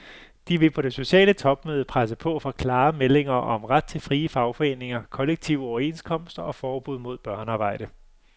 De vil på det sociale topmøde presse på for klare meldinger om ret til frie fagforeninger, kollektive overenskomster og forbud mod børnearbejde.